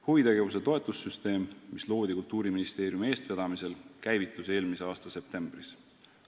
Huvitegevuse toetamise süsteem, mis loodi Kultuuriministeeriumi eestvedamisel, käivitus eelmise aasta septembris.